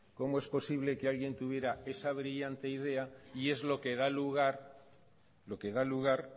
cómo es posible que alguien tuviera esa brillante idea y es lo que da lugar